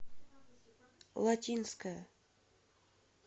латинская